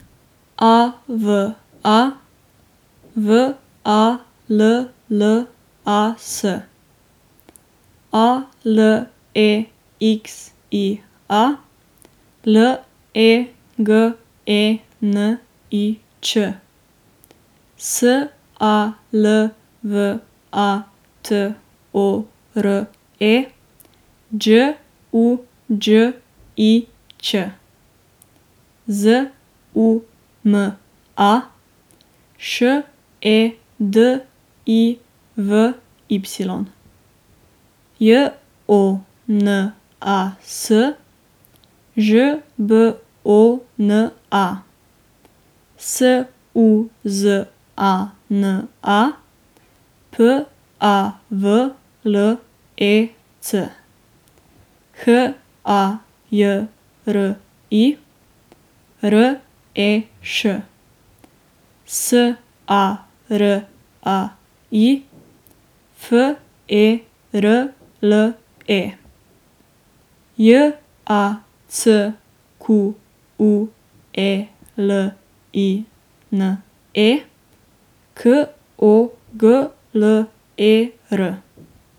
A V A, W A L L A S; A L E X I A, L E G E N I Č; S A L V A T O R E, Đ U Đ I Ć; Z U M A, Š E D I V Y; J O N A S, Ž B O N A; S U Z A N A, P A V L E C; H A J R I, R E Š; S A R A I, F E R L E; J A C Q U E L I N E, K O G L E R.